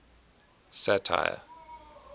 satire